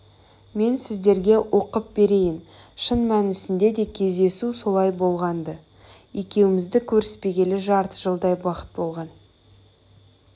мен сіздерге оқып берейін шын мәнісінде де кездесу солай болған-ды екеуміз көріспегелі жарты жылдай уақыт болған